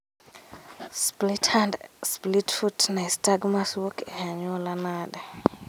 Split hand split foot nystagmus wuok e anyuola nade